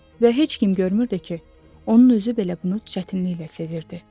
Və heç kim görmürdü ki, onun özü belə bunu çətinliklə sezirdi.